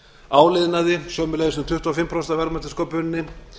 áliðnaði sömuleiðis um tuttugu og fimm prósent af verðmætasköpuninni